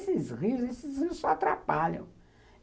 Esses rios, esses rios só atrapalham.